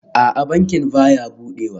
A'a, bankin baya budewa